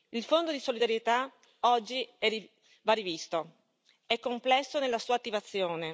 Il Fondo di solidarietà oggi va rivisto perché è complesso nella sua attivazione.